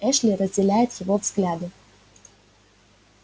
эшли разделяет его взгляды